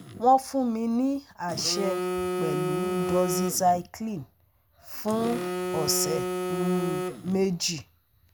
Wọ́n fún mi ní àṣẹ pẹ̀lú Doxycycline fún ọ̀sẹ̀ um méjì